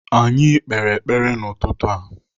Anyị kpere m ekpere n'ụtụtụ a.